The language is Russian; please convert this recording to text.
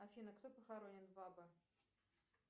афина кто похоронен в баба